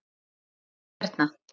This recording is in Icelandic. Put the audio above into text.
sjáðu, hérna.